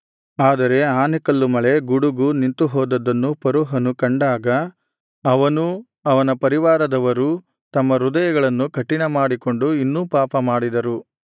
ಆದರೆ ಆನೆಕಲ್ಲು ಮಳೆ ಗುಡುಗು ನಿಂತುಹೋದದ್ದನ್ನು ಫರೋಹನು ಕಂಡಾಗ ಅವನೂ ಅವನ ಪರಿವಾರದವರೂ ತಮ್ಮ ಹೃದಯಗಳನ್ನು ಕಠಿಣಮಾಡಿಕೊಂಡು ಇನ್ನೂ ಪಾಪ ಮಾಡಿದರು